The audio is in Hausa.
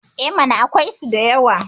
E mana, akwaisu da yawa.